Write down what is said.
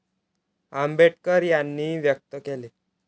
आंबेडकर यांनी व्यक्त केले.